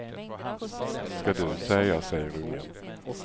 Ska du säga, säger ungen.